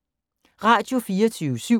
Radio24syv